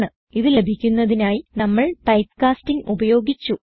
ഇത് ലഭിക്കുന്നതിനായി നമ്മൾ ടൈപ്പ് കാസ്റ്റിങ് ഉപയോഗിച്ചു